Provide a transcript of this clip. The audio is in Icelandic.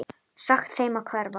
Sagt þeim að hverfa.